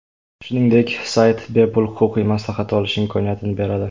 Shuningdek, sayt bepul huquqiy maslahat olish imkoniyatini beradi.